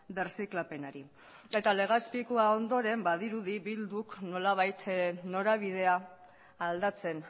birziklapenari eta legazpikoa ondoren badirudi bilduk nolabait norabidea aldatzen